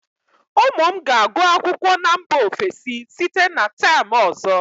ụmụ m ga-agụ akwụkwọ na mba ofesi site na term ọzọ